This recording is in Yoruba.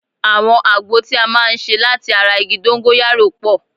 Àwọn àgbo tí a máa ń ṣe láti ara igi dóńgóyárò pọ̀